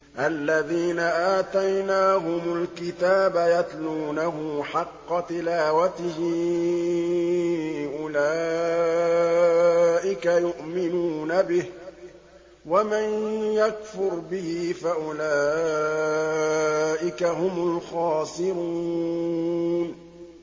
الَّذِينَ آتَيْنَاهُمُ الْكِتَابَ يَتْلُونَهُ حَقَّ تِلَاوَتِهِ أُولَٰئِكَ يُؤْمِنُونَ بِهِ ۗ وَمَن يَكْفُرْ بِهِ فَأُولَٰئِكَ هُمُ الْخَاسِرُونَ